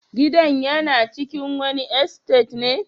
Gidan yana cikin wani estate ne?